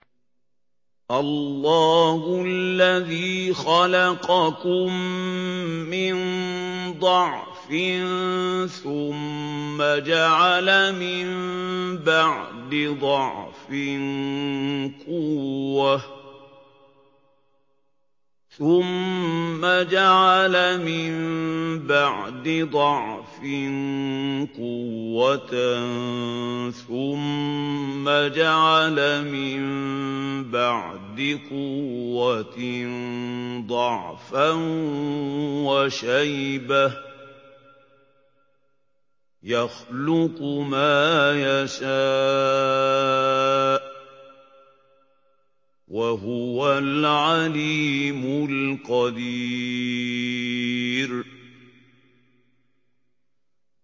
۞ اللَّهُ الَّذِي خَلَقَكُم مِّن ضَعْفٍ ثُمَّ جَعَلَ مِن بَعْدِ ضَعْفٍ قُوَّةً ثُمَّ جَعَلَ مِن بَعْدِ قُوَّةٍ ضَعْفًا وَشَيْبَةً ۚ يَخْلُقُ مَا يَشَاءُ ۖ وَهُوَ الْعَلِيمُ الْقَدِيرُ